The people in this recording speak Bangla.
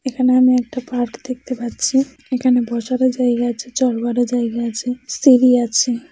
এখানে আমি একটা পার্ক দেখতে পাচ্ছি এখানে বসারও জায়গা আছে চরবারও জায়গা আছে সিড়ি আছে।